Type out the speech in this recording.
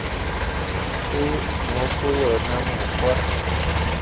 e mo go yona mokgwa